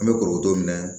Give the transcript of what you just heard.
An bɛ korodo minɛ